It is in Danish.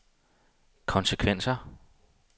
konsekvenser